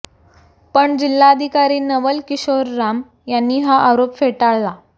पण जिल्हाधिकारी नवल किशोर राम यांनी हा आरोप फेटाळला